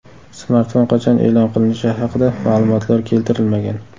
Smartfon qachon e’lon qilinishi haqida ma’lumotlar keltirilmagan.